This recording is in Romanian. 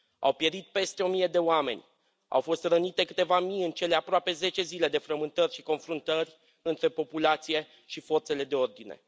Au pierit peste o mie de oameni, au fost rănite câteva mii în cele aproape zece zile de frământări și confruntări între populație și forțele de ordine.